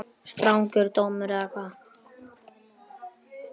Strangur dómur eða hvað?